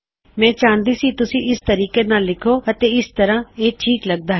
ਤੁਹਾਡੇ ਲਿਖਣ ਵਾਸਤੇ ਉਹ ਇਸ ਤਰੀਕੇ ਦੀ ਪੰਸਦ ਕਰੇਗਾ ਅਤੇ ਅਸੀਂ ਦੇਖ ਸਕਦੇ ਹਾਂ ਕੀ ਉਹ ਠੀਕ ਹੈ